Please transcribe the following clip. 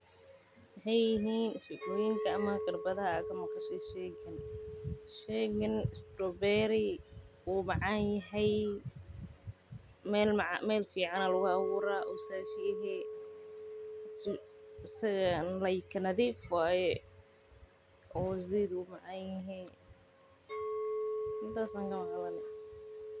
Maxeey yihiin shekoyinka aad ka maqashe sheygan wuu macaan yahay nadiif waye.